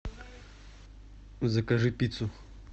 закажи пиццу